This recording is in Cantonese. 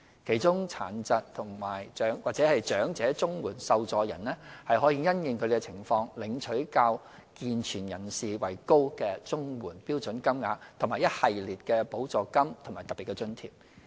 其中，殘疾或長者綜援受助人可因應他們的情況，領取較健全人士為高的綜援標準金額和一系列的補助金和特別津貼。